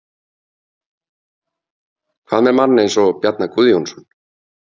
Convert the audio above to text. Hvað með mann eins og Bjarna Guðjónsson?